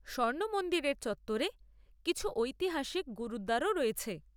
স্বর্ণ মন্দিরের চত্বরে কিছু ঐতিহাসিক গুরুদ্বারও রয়েছে।